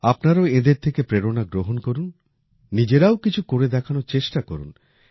আপনারাও এঁদের থেকে প্রেরণা গ্রহণ করুন নিজেরাও কিছু করে দেখানোর চেষ্টা করুন